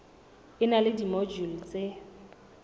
e na le dimojule tse